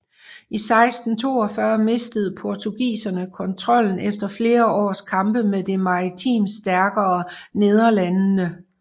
I 1642 mistede portugiserne kontrollen efter flere års kampe med det maritimt stærkere Nederlandene